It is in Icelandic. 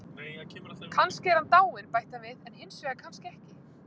Kannski er hann dáinn, bætti hann við, en hinsvegar, kannski ekki.